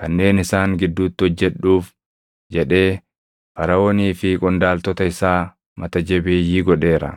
kanneen isaan gidduutti hojjedhuuf jedhee Faraʼoonii fi qondaaltota isaa mata jabeeyyii godheera;